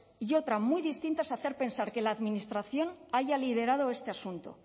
y otra muy distinta es hacer pensar que la administración haya liderado este asunto